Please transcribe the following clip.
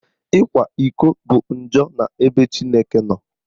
Ịkwa iko bụ njọ n'ebe Chineke nọ